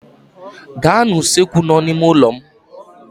Gaa n'usekwu nọ n'ime ụlọ m